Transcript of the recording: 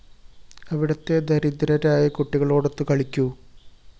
അവിടത്തെ ദരിദ്രരായ കുട്ടികളോടൊത്തു കളിക്കൂ